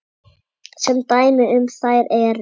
Sem dæmi um þær eru